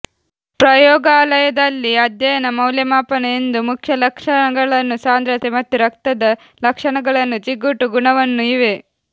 ಪ್ರಯೋಗಾಲಯದಲ್ಲಿ ಅಧ್ಯಯನ ಮೌಲ್ಯಮಾಪನ ಎಂದು ಮುಖ್ಯ ಲಕ್ಷಣಗಳನ್ನು ಸಾಂದ್ರತೆ ಮತ್ತು ರಕ್ತದ ಲಕ್ಷಣಗಳನ್ನು ಜಿಗುಟು ಗುಣವನ್ನು ಇವೆ